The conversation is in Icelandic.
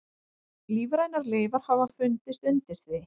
Lífrænar leifar hafa fundist undir því.